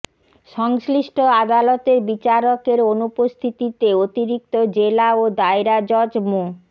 সংশ্লিষ্ট আদালতের বিচারকের অনুপস্থিতিতে অতিরিক্ত জেলা ও দায়রা জজ মো